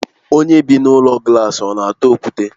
Onye bị n'ụlọ glaasi ọna atụ okwute?